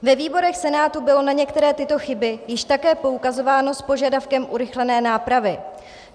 Ve výborech Senátu bylo na některé tyto chyby již také poukazováno s požadavkem urychlené nápravy.